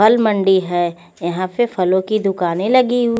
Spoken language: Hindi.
फल मंडी है यहा पे फलो की दुकाने लगी हु--